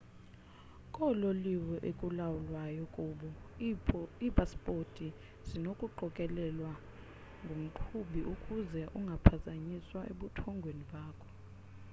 koololiwe ekulalwayo kubo iipasipoti zinokuqokelelwa ngumqhubi ukuze ungaphazanyiswa ebuthongweni bakho